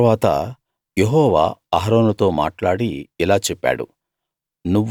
తరువాత యెహోవా అహరోనుతో మాట్లాడి ఇలా చెప్పాడు